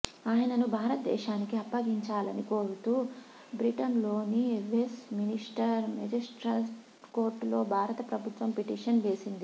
ఆయనను భారతదేశానికి అప్పగించాలని కోరుతూ బ్రిటన్లోని వెస్ ్టమినిస్టర్ మెజిస్ట్రట్ కోర్టులో భారత ప్రభుత్వం పిటిషన్ వేసింది